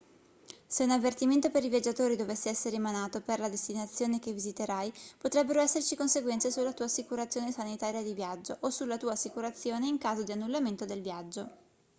se un avvertimento per i viaggiatori dovesse essere emanato per la destinazione che visiterai potrebbero esserci conseguenze sulla tua assicurazione sanitaria di viaggio o sulla tua assicurazione in caso di annullamento del viaggio